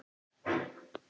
Deyja út.